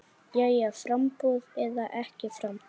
Jæja framboð eða ekki framboð?